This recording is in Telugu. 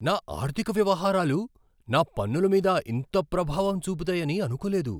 నా ఆర్థిక వ్యవహారాలు నా పన్నుల మీద ఇంత ప్రభావం చూపుతాయని అనుకోలేదు.